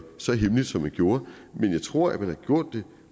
så hemmeligt som man gjorde men jeg tror at man har gjort det